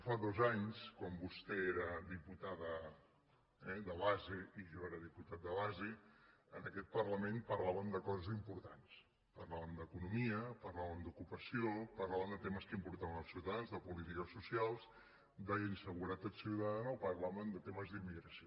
fa dos anys quan vostè era diputada de base i jo era diputat de base en aquest parlament parlàvem de coses importants parlàvem d’economia parlàvem d’ocupació parlàvem de temes que importaven als ciutadans de polítiques socials d’inseguretat ciutadana o parlàvem de temes d’immigració